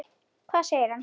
Hvað segir hann?